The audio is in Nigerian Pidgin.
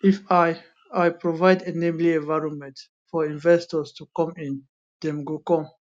if i i provide enabling environment for investors to come in dem go come